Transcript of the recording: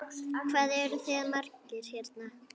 Hvað eruð þið margir hérna?